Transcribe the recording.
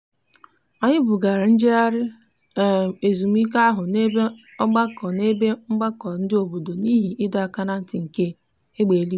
anyị bugara njegharị um ezumike ahụ n'ebe mgbakọ n'ebe mgbakọ ndị obodo n'ihi ịdọ aka na ntị nke egbe eluigwe.